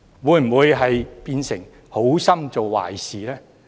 會否變成好心做壞事呢？